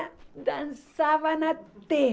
dançavam até.